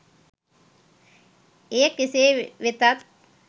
එය කෙසේ වෙතත්